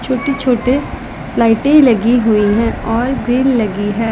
छोटी छोटे लाइटें लगी हुई हैं और ग्रिल लगी है।